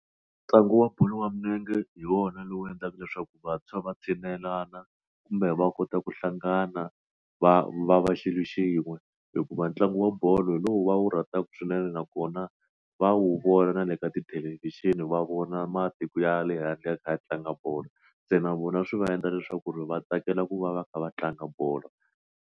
Ntlangu wa bolo ya milenge hi wona lowu endlaka leswaku vantshwa va tshinelelana kumbe va kota ku hlangana va va va xilo xin'we hikuva ntlangu wa bolo hi lowu va wu rhandzaka swinene nakona va wu vona na le ka tithelevhixini va vona matiko ya le handle ya kha ya tlanga bolo se na vona swi va endla leswaku ku ri va tsakela ku va va kha va tlanga bolo.